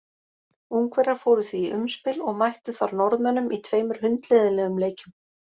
Ungverjar fóru því í umspil og mættu þar Norðmönnum í tveimur hundleiðinlegum leikjum.